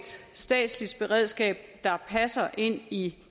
statsligt beredskab der passer ind i